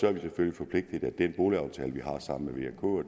er vi selvfølgelig forpligtet af den boligaftale vi har sammen